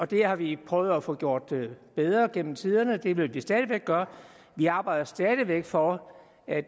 det har vi prøvet at få gjort bedre gennem tiderne og det vil vi stadig væk gøre vi arbejder stadig væk for at